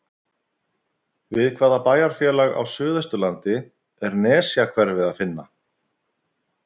Við hvaða bæjarfélag á suðausturlandi er Nesjahverfi að finna?